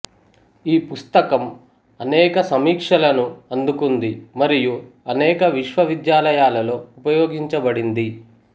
ఈ పుస్తకం అనేక సమీక్షలను అందుకుంది మరియు అనేక విశ్వవిద్యాలయాలలో ఉపయోగించబడింది